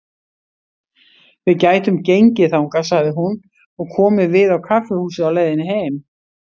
Við gætum gengið þangað, sagði hún, og komið við á kaffihúsi á leiðinni heim.